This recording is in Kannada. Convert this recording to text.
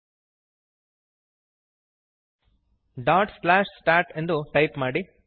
stat ಡಾಟ್ ಸ್ಲ್ಯಾಷ್ ಸ್ಟಾಟ್ ಎಂದು ಟೈಪ್ ಮಾಡಿರಿ